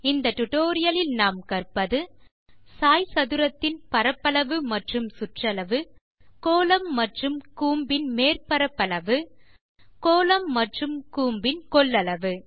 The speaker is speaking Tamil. இந்த டுடோரியலில் நாம் கற்பது சாய்சதுரத்தின் பரப்பளவு மற்றும் சுற்றளவு கோளம் மற்றும் கூம்பின் மேற் பரப்பளவு கோளம் மற்றும் கூம்பின் கொள்ளளவு